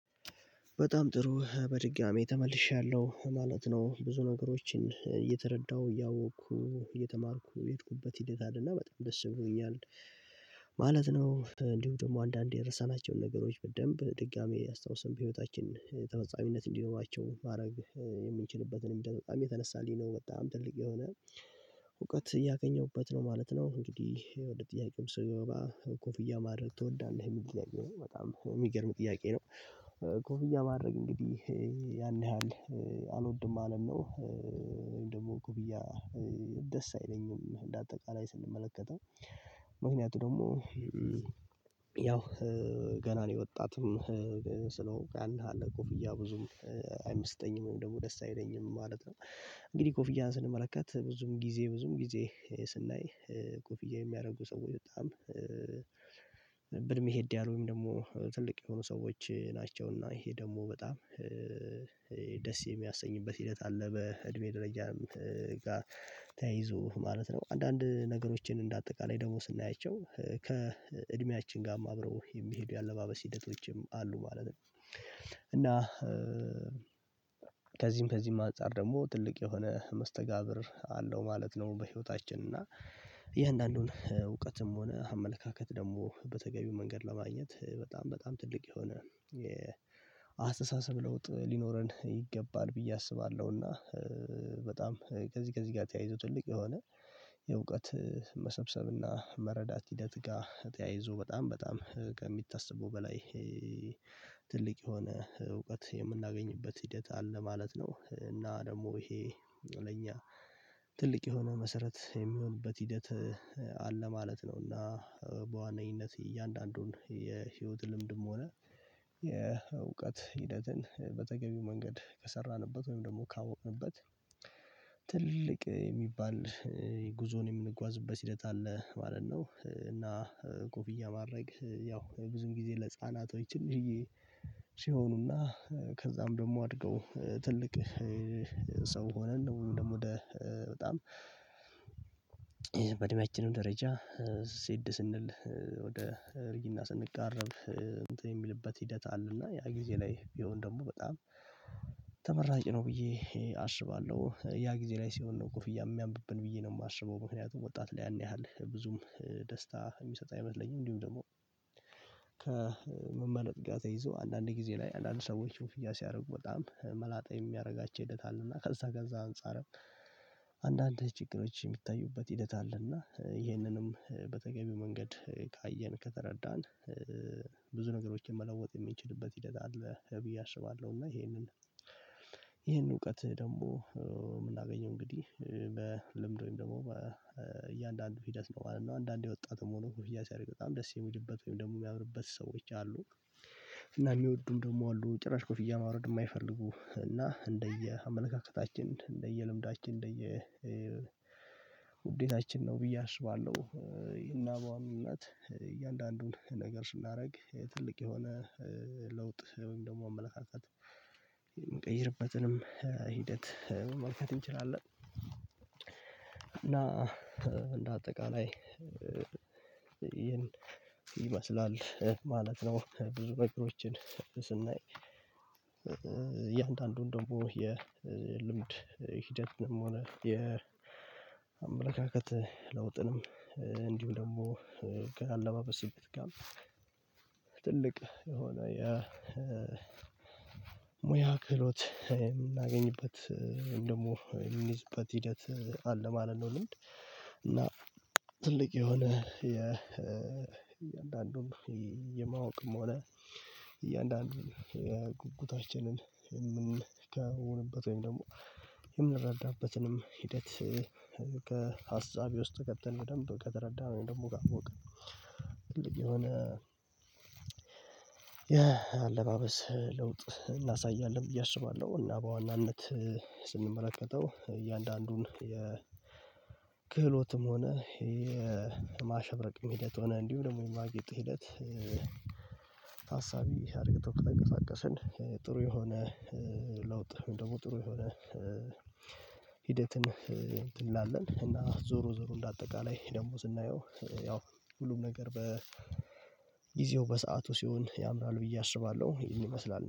በጣም ጥሩ በድጋሚ ተመልሻለሁ ማለት ነው ብዙ ነገሮችን እየተረዳሁ እያወቅኩ እየተማርኩ የሄድኩበት ሂደት አለና በጣም ደስ ብሎኛል። ማለት ነው እንዲሁም ደግሞ አንዳንዴ የረሳናቸውን ነገሮች በደንብ ድጋሚ ያስታውስን በህይወታችን ተፈጻሚነት እንዲኖራቸው ማድረግ የምንችልበትን በጣም የተነሳልኝ ነው በጣም ትልቅ የሆነ እውቀት እያገኘሁበት ነው ማለት ነው። እንግዲህ ወደ ጥያቄውም ስገባ ኮፍያ ማድረግ ትወዳለህ የሚል ጥያቄ ነው በጣም የሚገርም ጥያቄ ነው። ኮፍያ ማድረግ እንግዲህ ያን ያህል አልወድም ማለት ነው። ወይም ደግሞ ኮፍያ ደስ አይለኝም እንደ አጠቃላይ ስንመለከተው ምክንያቱ ደግሞ ያው ገና ነው የወጣትም ስለሆንኩ ያን ያህል ኮፍያ ብዙም አይመስጠኝም ደግሞ ደስ አይለኝም ማለት ነው። እንግዲህ ኮፍያን ስንመለከት ብዙም ጊዜ ስናይ ኮፍያ የሚያደርጉ ሰዎች በጣም ብእድሜ ሄድ ያሉ ደግሞ ትልቅ የሆኑ ሰዎች ናቸው እና ይሄ ደግሞ በጣም ደስ የሚያሰኝበት ሂደት አለ። በእድሜ ደረጃ ተያይዞ ማለት ነው አንዳንድ ነገሮችን እንደ አጠቃላይ ደግሞ ስናያቸው ከእድሜያችን ጋርም አብረው የሚሄዱ የአለባበስ ሂደቶችም አሉ ማለት ነው። እና ከዚህም አንፃር ደግሞ ትልቅ የሆነ መስተጋብር አለው ማለት ነው። በህይወታችን እና የእያንዳንዱን እውቀትም ሆነ አመለካከት ደግሞ በተገቢው መንገድ ለማግኘት በጣም በጣም ትልቅ የሆነ የአስተሳሰብ ለውጥ ሊኖረን ይገባል ብዬ አስባለሁና። በጣም ከዚህ ጋር ተያይዞ ትልቅ የሆነ የእውቀት መሰብሰብና መረዳት ሂደት ጋር ተያይዞ በጣም ከሚታሰበው በላይ ትልቅ የሆነ እውቀት የምናገኝበት ሂደት አለ ማለት ነው። እና ደግሞ ይሄ ለኛ ትልቅ የሆነ መሰረት የሚሆንበት ሂደት አለ ማለት ነው። እና በዋናኝነት እያንዳንዱን የህይወት ልምድም ሆነ የእውቀት ሂደትን በተገቢው መንገድ ከሰራንበት ወይም ደግሞ ካወቅንበት ትልቅ የሚባል ጉዞን የምንጓዝበት ሂደት አለ ማለት ነው። እና ኮፍያ ማድረግ ያው ብዙም ጊዜ ለህፃናት ወይ ትንሽዬ ሲሆኑና ከዛም ደግሞ አድገው ትልቅ ሰው ሆነን ደግሞ ወደ በጣም በእድሜያችንም ደረጃ ሄድ ስንል ወደ እርጅና ስንቃረብ እንትን የሚልበት ሂደት አለና ያ ጊዜ ላይ ቢሆን ደግሞ በጣም ተመራጭ ነው ብዬ አስባለሁ። ያ ጊዜ ላይ ሲሆን ነው ኮፍያ የሚያምርብን ብዬ ነው የማስበው ምክንያቱም ወጣት ላይ ያን ያህል ብዙም ደስታ የሚሰጥ አይመስለኝም። እንዲሁም ደግሞ ከመመለጥ ጋር ተይዞ አንዳንድ ጊዜ ላይ አንዳንድ ሰዎች ኮፍያ ሲያደርጉ በጣም መላጣ የሚያደርጋቸው ሂደት አል እና ከዛ ጋር አንፃርም አንዳንድ ችግሮች የሚታዩበት ሂደት አለና ይህንንም በተገቢው መንገድ ካየን፣ ከተረዳን ብዙ ነገሮችን መለወጥ የሚችልበት ሂደት አለ ብዬ አስባለሁ። እና ይሄንን ይሄንን እውቀት ደግሞ የምናገኘው እንግዲህ በልምድ ወይም ደግሞ በእያንዳንዱ ፊደስ ነው ማለት ነው። አንዳንዴ ወጣትም ሆኖ ኮፍያ ሲያደርግ በጣም ደስ የሚልበት ወይም ደግሞ የሚያምርበት ሰዎች አሉ። እና የሚወዱ ደግሞ አሉ ጭራሽ ኮፍያ ማውረድ የማይፈልጉ እና እንደየ አመለካከታችን እንደየ ልምዳችን እንደየ ውዴታችን ነው ብዬ አስባለሁ። እና በዋናናት እውነት እያንዳንዱን ነገር ስናደርግ ትልቅ የሆነ ለውጥ ወይም ደግሞ አመለካከት የምቀይርበትንም ሂደት መመልከት እንችላለን። እና እንደ አጠቃላይ ይህን ይመስላል ማለት ነው። ብዙ ነገሮችን ስናይ እያንዳንዱን ደግሞ የልምድ ሂደት ነው የሚሆነው የአመለካከት ለውጥንም እንዲሁ ደግሞ ከአለባበስ ስሜት ጋር ትልቅ የሆነ የሙያ ክህሎት የምናገኝበት ደግሞ የምንይዝበት ሂደት አለ ማለት ነው። ለአንድ እና ትልቅ የሆነ የእያንዳንዱን የማወቅም ሆነ እያንዳንዱን ጉጉታችንን የምንከውንበት ወይም ደግሞ የምንረዳበትንም ሂደት ከሀሳቤ ውስጥ ገብተን በደንብ ከተረዳን ደግሞ ካወቅን ከንግዲህ የሆነ የአለባበስ ለውጥ እናሳያለን ብዬ አስባለሁ። እና በዋናነት ስንመለከተው እያንዳንዱን የክህሎትም ሆነ የማሸበቅም ሂደት ሆነ እንዲሁ ደግሞ የማጌጡ ሂደት። ታሳቢ አድርገን ተብሎ ከተንቀሳቀስን ጥሩ የሆነ ለውጥ ደግሞ ጥሩ የሆነ ሂደትን እንትን እንላለን እና ዞሮ ዞሮ እንደ አጠቃላይ ደሞ ስናየው ያው ሁሉም ነገር በጊዜው በሰአቱ ሲሆን ያምራል ብዬ አስባለሁ። ይመስላል